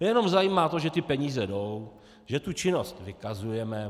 Je jenom zajímá to, že ty peníze jdou, že tu činnost vykazujeme.